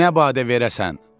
Nə badə verəsən.